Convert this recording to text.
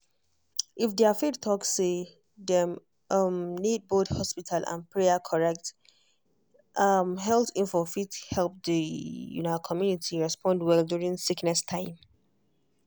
if their faith talk say dem um need both hospital and prayer correct um health info fit help the um community respond well during sickness time.